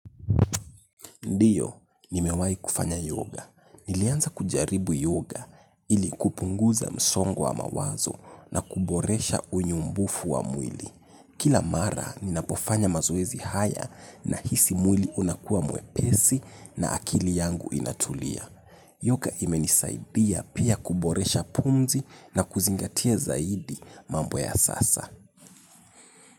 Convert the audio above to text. Ndiyo, nimewai kufanya yoga. Nilianza kujaribu yoga ili kupunguza msongo wa mawazo na kuboresha unyumbufu wa mwili. Kila mara, ninapofanya mazoezi haya nahisi mwili unakuwa mwepesi na akili yangu inatulia. Yoga imenisaidia pia kuboresha pumzi na kuzingatia zaidi mambo ya sasa.